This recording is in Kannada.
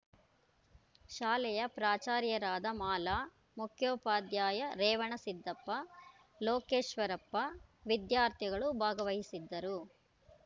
ಶಾಲೆಯ ಪ್ರಾಚಾರ್ಯರಾದ ಮಾಲಾ ಮುಖ್ಯೋಪಾಧ್ಯಾಯ ರೇವಣಸಿದ್ದಪ್ಪ ಲೋಕೇಶ್ವರಪ್ಪ ವಿದ್ಯಾರ್ಥಿಗಳು ಭಾಗವಹಿಸಿದ್ದರು